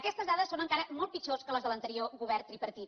aquestes dades són encara molt pitjors que les de l’anterior govern tripartit